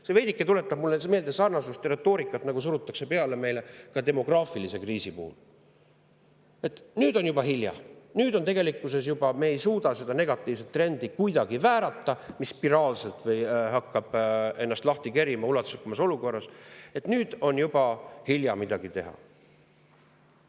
See tuletab mulle veidike meelde sarnast retoorikat, nagu meile surutakse peale ka demograafilise kriisi puhul, et nüüd on juba hilja, nüüd me ei suuda kuidagi väärata seda negatiivset trendi, mis spiraalselt hakkab ennast lahti kerima, et nüüd on juba hilja midagi teha.